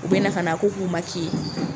U bɛ na ka na a ko k'u